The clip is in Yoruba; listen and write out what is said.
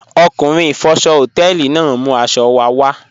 Ọkunrin ifọ̀ṣọ̀ họtẹlì naà n mú aṣọ̀ wà wà